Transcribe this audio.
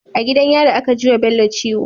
A gidan yari aka jiwa bello ciwo